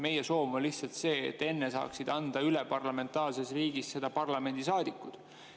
Meie soov on lihtsalt see, et enne saaksid parlamentaarses riigis parlamendisaadikud anda üle.